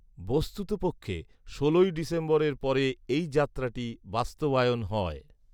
বস্তুতপক্ষে ষোলই ডিসেম্বরের পরে এই যাত্ৰাটি বাস্তবায়ন হয়